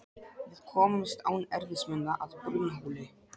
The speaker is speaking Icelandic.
Við komumst án erfiðismuna að Brunnhóli.